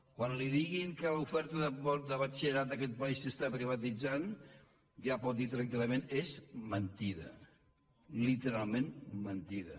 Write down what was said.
quan li diguin que l’oferta de batxille·rat d’aquest país s’està privatitzant ja pot dir tranquil·lament és mentida literalment mentida